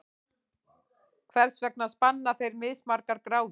Hvers vegna spanna þeir mismargar gráður?